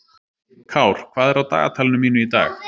Kár, hvað er á dagatalinu mínu í dag?